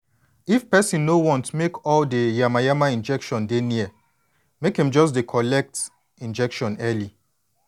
if person no want make all de yama-yama infection dey near make em just dey collect injection early